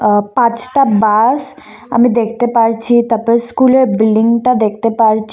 আ পাঁচটা বাস আমি দেখতে পারছি তারপর স্কুলের বিল্ডিংটা দেখতে পারছি।